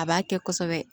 A b'a kɛ kosɛbɛ